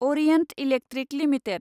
Orient electric limited